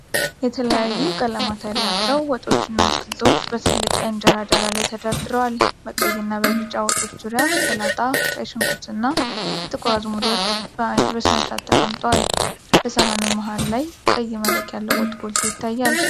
የተለያዩ ቀለማት ያላቸው ወጦችና አትክልቶች በትልቅ የእንጀራ ዳር ላይ ተደርድረዋል። በቀይና በቢጫ ወጦች ዙሪያ ሰላጣ፣ ቀይ ሽንኩርትና የጥቁር አዝሙድ ወጥ በስርዓት ተቀምጠዋል። በሰሃኑ መሃል ላይ ቀይ መረቅ ያለው ወጥ ጎልቶ ይታያል።